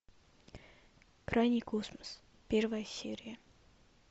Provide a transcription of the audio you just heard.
крайний космос первая серия